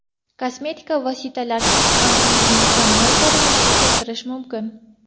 Kosmetika vositalarisiz ham yuzni mukammal ko‘rinishga keltirish mumkin.